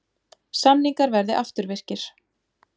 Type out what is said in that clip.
Samningar verði afturvirkir